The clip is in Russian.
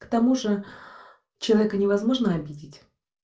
к тому же человека невозможно обидеть